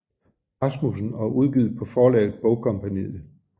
Rasmussen og udgivet på forlaget Bogkompagniet